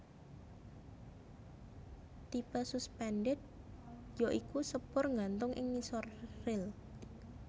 Tipe suspended ya iku sepur nggantung ing ngisor ril